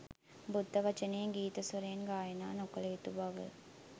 බුද්ධ වචනය ගීත ස්වරයෙන් ගායනා නොකළ යුතු බව